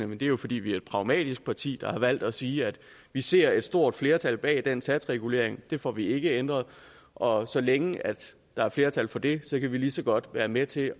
men det er jo fordi vi er et pragmatisk parti der har valgt at sige at vi ser et stort flertal bag den satsregulering det får vi ikke ændret og så længe der er flertal for det kan vi lige så godt være med til